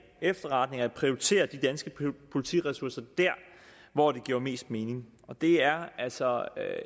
efterretninger prioriterer de danske politiressourcer der hvor det giver mest mening det er altså